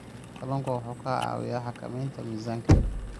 Kalluunku waxa uu caawiyaa xakamaynta miisaanka.